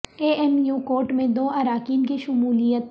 اے M U court میں دو اراکین کی شمولیت